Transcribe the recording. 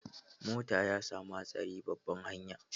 Motan ya samu hatsari babban hanya.